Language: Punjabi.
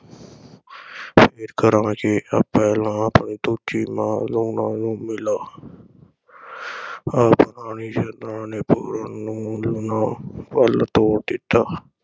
ਫੇਰ ਕਰਾਂਗੇ ਪਹਿਲਾਂ ਆਪਣੀ ਦੂਜੀ ਮਾਂ ਲੂਣਾਂ ਨੂੰ ਮਿਲ ਆ ਆਖ ਰਾਣੀ ਇੱਛਰਾਂ ਨੇ ਪੂਰਨ ਨੂੰ ਲੂਣਾਂ ਵੱਲ ਤੋਰ ਦਿੱਤਾ।